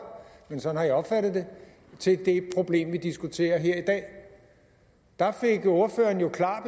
men sådan har jeg opfattet det til det problem vi diskuterer her i dag der fik ordføreren jo klar